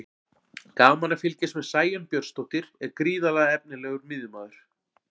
Gaman að fylgjast með: Sæunn Björnsdóttir er gríðarlega efnilegur miðjumaður.